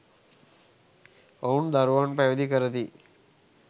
ඔවුන් දරුවන් පැවිදි කරති.